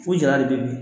Fo jara de bɛ yen